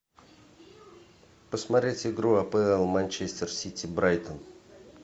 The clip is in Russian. посмотреть игру апл манчестер сити брайтон